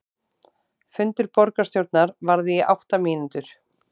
Fundur borgarstjórnar varði í átta mínútur